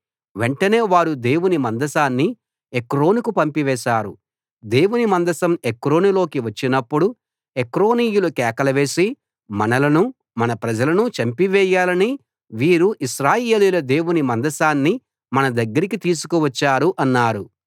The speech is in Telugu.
వెంటనే వారు దేవుని మందసాన్ని ఎక్రోనుకు పంపివేశారు దేవుని మందసం ఎక్రోనులోకి వచ్చినప్పుడు ఎక్రోనీయులు కేకలు వేసి మనలనూ మన ప్రజలనూ చంపివేయాలని వీరు ఇశ్రాయేలీయుల దేవుని మందసాన్ని మన దగ్గరికి తీసుకువచ్చారు అన్నారు